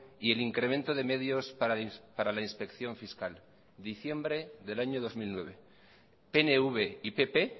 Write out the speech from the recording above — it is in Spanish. y el incremento de medios para la inspección fiscal diciembre del año dos mil nueve pnv y pp